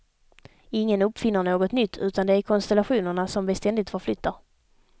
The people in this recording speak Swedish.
Ingen uppfinner något nytt, utan det är konstellationerna, som vi ständigt förflyttar.